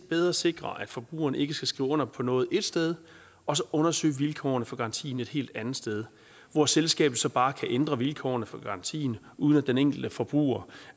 bedre sikrer at forbrugerne ikke skal skrive under på noget et sted og undersøge vilkårene for garantien et helt andet sted hvor selskabet så bare kan ændre vilkårene for garantien uden at den enkelte forbruger